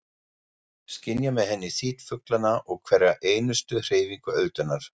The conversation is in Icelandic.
Skynja með henni þyt fuglanna og hverja einustu hreyfingu öldunnar.